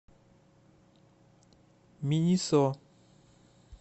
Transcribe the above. минисо